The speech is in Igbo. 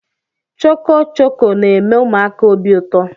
Chọkọchọkọ na-eme ụmụaka obi ụtọ